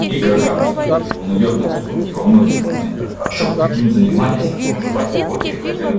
игрокам всё-таки и он идёт на уступки во многих моментах а чтоб таким занимались в том же патипокере во-первых